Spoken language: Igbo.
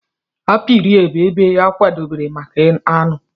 apiary bụ ebe a kwadebere maka aṅụ.